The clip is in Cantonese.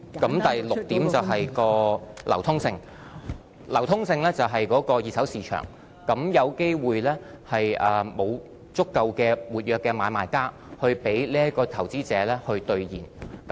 第六，便是數碼貨幣的流通性，流通性是指二手市場，有機會沒有足夠的活躍買賣家來讓投資者兌現數碼貨幣。